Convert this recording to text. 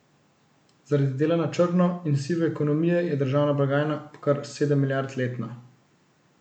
Zaradi dela na črno in sive ekonomije je državna blagajna ob kar sedem milijard letno.